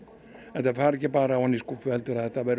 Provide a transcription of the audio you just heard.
þetta fari ekki bara ofan í skúffu heldur